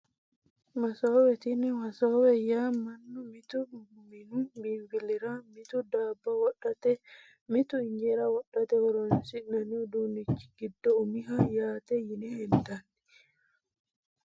Masoowe tini wasoowe yaa manu mitu minu binfilira mitu daabo wodhate mitu injeera wodhate horonsinani uduunichi giddo umiho yaate yine hendani.